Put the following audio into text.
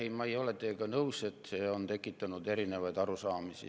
Ei, ma ei ole teiega nõus, et see on tekitanud erinevaid arusaamisi.